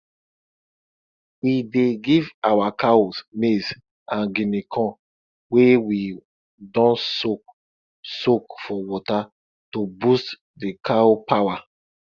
we dey give our cows maize and guinea corn wey we don soak soak for water to boost d cow power